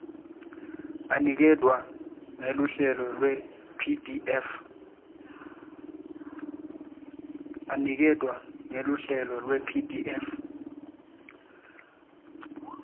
aniketwa ngeluhlelo lwepdf